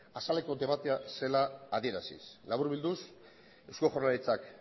azaleko debatea zela adieraziz laburbilduz eusko jaurlaritzak